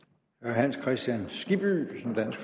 præcis